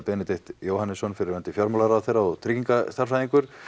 Benedikt Jóhannesson fyrrverandi fjármálaráðherra og tryggingastærðfræðingur